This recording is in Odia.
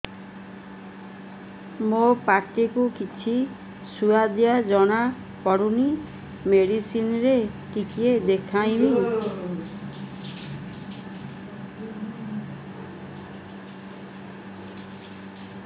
ମୋ ପାଟି କୁ କିଛି ସୁଆଦ ଜଣାପଡ଼ୁନି ମେଡିସିନ ରେ ଟିକେ ଦେଖେଇମି